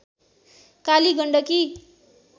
Kali Gandaki